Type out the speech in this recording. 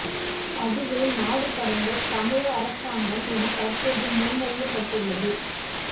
அதுவே நாடு கடந்த தமிழீழ அரசாங்கம் என தற்போது முன்மொழியப்பட்டுள்ளது